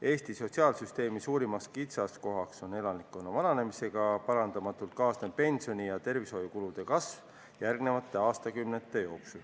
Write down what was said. Eesti sotsiaalsüsteemi suurim kitsaskoht on elanikkonna vananemisega parandamatult kaasnev pensioni- ja tervishoiukulude kasv järgmistel aastakümnetel.